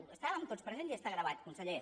hi estàvem tots presents i està gravat conseller